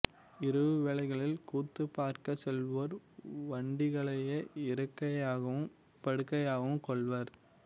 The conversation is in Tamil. இரவு வேளைகளில் கூத்து பார்க்கச் செல்வோர் வண்டிகளையே இருக்கையாகவும் படுக்கையாகவும் கொள்வர்